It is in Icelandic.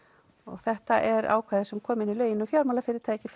þetta er ákvæði sem kom inn í lögin um fjármálafyrirtæki